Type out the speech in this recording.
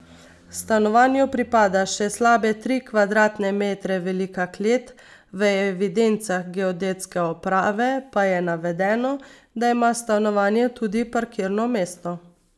Stanovanju pripada še slabe tri kvadratne metre velika klet, v evidencah geodetske uprave pa je navedeno, da ima stanovanje tudi parkirno mesto.